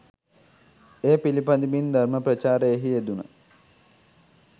එය පිළිපදිමින් ධර්ම ප්‍රචාරයෙහි යෙදුන